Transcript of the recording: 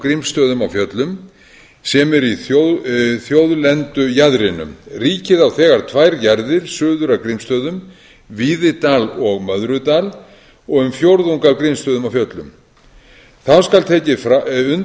grímsstöðum á fjöllum sem eru í þjóðlendujaðrinum ríkið á þegar tvær jarðir suður af grímsstöðum víðidal og möðrudal og um fjórðung af grímsstöðum á fjöllum þá skal tekið